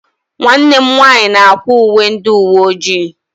Nwanne m nwanyị na-akwa uwe ndị uwe ojii.